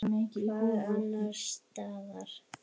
Hvar annars staðar!